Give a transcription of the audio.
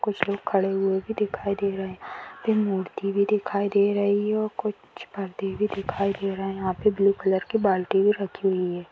कुछ लोग खड़े हुए भी दिखाई दे रहे हैं मूर्ति भी दिखाई दे रही है और कुछ परदे भी दिखाई दे रहे हैं यहाँ पे ब्लू कलर की बाल्टी भी रखी हुई है।